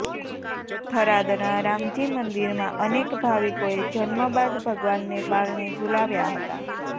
થરાદના રામજીમંદીરમાં અનેક ભાવિકોએ જન્મબાદ ભગવાનને પારણે ઝુલાવ્યા હતા